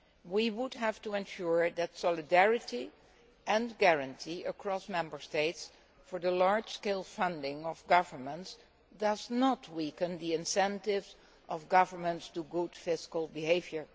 We would have to ensure that solidarity and guarantees across Member States for the large scale funding of governments do not weaken the incentives of governments to good fiscal behaviour.